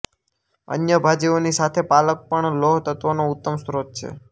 અન્ય ભાજીઓની સાથે પાલક પણ લોહતત્ત્વનો ઉત્તમ સ્રોત છે